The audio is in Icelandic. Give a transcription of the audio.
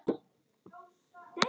Kannski sá hann mig ekki.